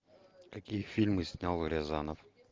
какие фильмы снял рязанов